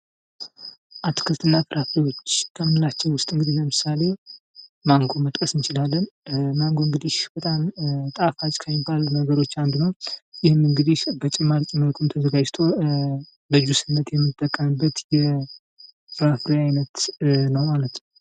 አትክልት እና ፍራፍሬዎች ከምንላቸው ውስጥ ለምሳሌ ማንጎን መጥቀስ እንቺላለን። ማንጎ እንግዲህ በጣም ጣፋጭ ከሚባሉት ነገሮች አንዱ ነው። ይህም እንግዲህ በጭማቂ መልኩም ተዘጋጅቶ ለጁስነት እንጠቀምበታለን።